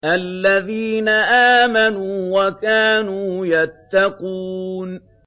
الَّذِينَ آمَنُوا وَكَانُوا يَتَّقُونَ